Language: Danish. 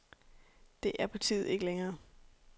Det er partiet ikke længere.